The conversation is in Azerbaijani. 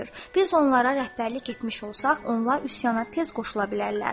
Biz onlara rəhbərlik etmiş olsaq, onlar üsyana tez qoşula bilərlər.